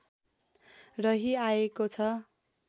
रही आएको छ